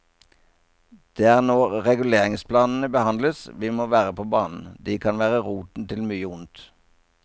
Det er når reguleringsplanene behandles, vi må være på banen, de kan være roten til mye ondt.